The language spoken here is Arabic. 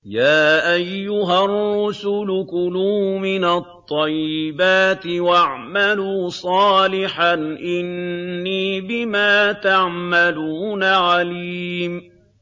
يَا أَيُّهَا الرُّسُلُ كُلُوا مِنَ الطَّيِّبَاتِ وَاعْمَلُوا صَالِحًا ۖ إِنِّي بِمَا تَعْمَلُونَ عَلِيمٌ